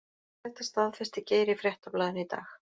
Þetta staðfesti Geir í Fréttablaðinu í dag.